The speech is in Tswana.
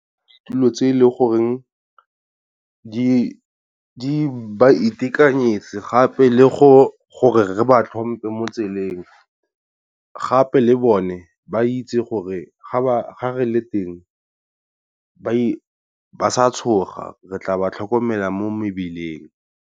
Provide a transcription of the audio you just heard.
Ditulo tse e le goreng ba itekanetse gape le go gore re ba tlhompe mo tseleng, gape le bone ba itse gore ga re le teng ba sa tshoga re tla ba tlhokomela mo mebileng.